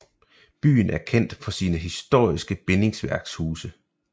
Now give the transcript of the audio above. Byen er kendt for sine historiske bindingsværkshuse